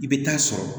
I bɛ taa sɔrɔ